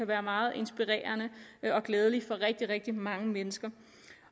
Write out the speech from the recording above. være meget inspirerende og glædelig for rigtig rigtig mange mennesker